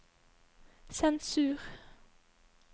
sensur